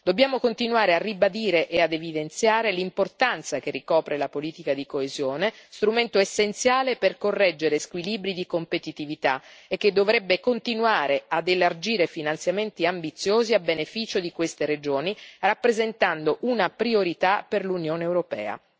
Dobbiamo continuare a ribadire e ad evidenziare l'importanza che ricopre la politica di coesione, strumento essenziale per correggere squilibri di competitività, e che dovrebbe continuare ad elargire finanziamenti ambiziosi a beneficio di queste regioni, rappresentando una priorità per l'Unione europea.